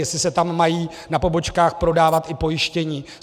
Jestli se tam mají na pobočkách prodávat i pojištění.